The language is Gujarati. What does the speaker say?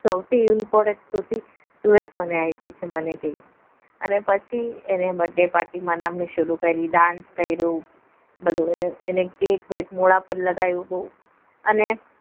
સૌથી important તો એ જ મને આપી છે મને કે અને પછી એને birthday party dance કર્યું બધું એને કેક વેક મોઢા પર લગાવ્યો અને